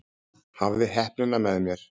Hafði heppnina með mér